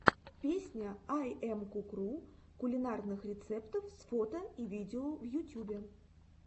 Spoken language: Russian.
песня айэмкукру кулинарных рецептов с фото и видео в ютьюбе